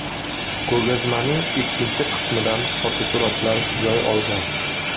Ko‘rgazmaning ikkinchi qismidan fotosuratlar joy olgan.